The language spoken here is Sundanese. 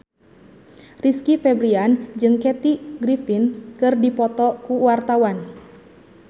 Rizky Febian jeung Kathy Griffin keur dipoto ku wartawan